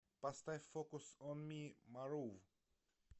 поставь фокус он ми марув